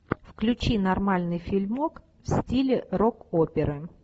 включи нормальный фильмок в стиле рок оперы